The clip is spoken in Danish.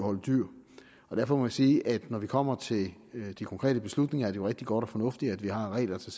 derfor må jeg sige at når det kommer til de de konkrete beslutninger er det jo rigtig godt og fornuftigt at vi har regler til